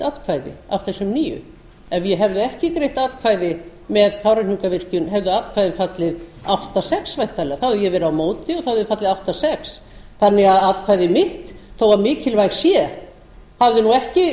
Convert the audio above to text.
atkvæði af þessum níundi ef ég hefði ekki greitt atkvæði með kárahnjúkavirkjun hefði atkvæðið fallið átta sex væntanlega þá hefði ég verið á móti og það hefði fallið átta sjötta þannig að atkvæði mitt þó mikilvægt sé hafi nú ekki